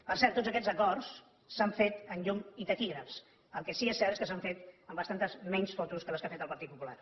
per cert tots aquests acords s’han fet amb llum i taquígrafs el que sí que és cert és que s’han fet amb bastantes menys fotos que les que ha fet el partit popular